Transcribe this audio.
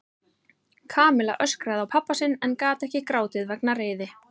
Kamilla öskraði á pabba sinn en gat ekki grátið vegna reiði.